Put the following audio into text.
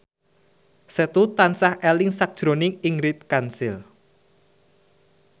Setu tansah eling sakjroning Ingrid Kansil